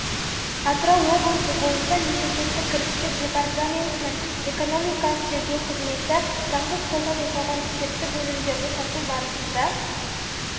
атырау облысы бойынша мемлекеттік кірістер департаментінің экономикалық тергеу қызметі заңсыз қолдан жасалған спирттік өнімдерді сату барысында